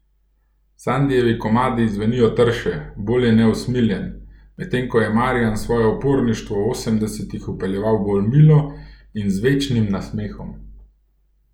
Sandijevi komadi zvenijo trše, bolj je neusmiljen, medtem ko je Marjan svoje uporništvo v osemdesetih vpeljeval bolj milo in z večnim nasmehom.